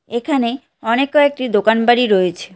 এখানে অনেক কয়েকটি দোকান বাড়ি রয়েছে।